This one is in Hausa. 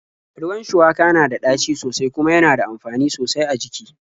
Ruwan shuwaka na da ɗaci sosai kuma yana da amfani sosai a jiki.